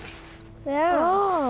já